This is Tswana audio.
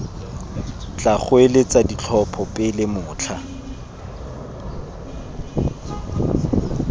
tla goeletsa ditlhopho pele motlha